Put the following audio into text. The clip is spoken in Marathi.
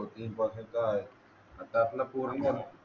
तीन परसेंट तर आहेच आता आपला पूर्ण